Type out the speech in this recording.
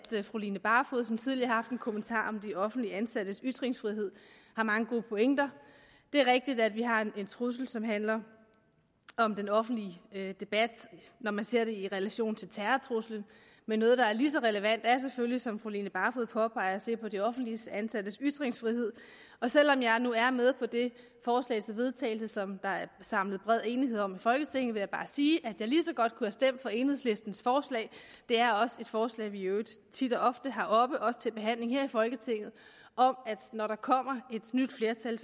fru line barfod som tidligere en kommentar om de offentligt ansattes ytringsfrihed har mange gode pointer det er rigtigt at vi har en trussel som handler om den offentlige debat når man ser det i relation til terrortruslen men noget der er lige så relevant er selvfølgelig som fru line barfod påpegede de offentligt ansattes ytringsfrihed selv om jeg nu er med på det forslag til vedtagelse som der er samlet bred enighed om i folketinget vil jeg bare sige at jeg lige så godt kunne have stemt for enhedslistens forslag det er også et forslag vi i øvrigt tit og ofte har oppe også til behandling her i folketinget om at når der kommer et nyt flertal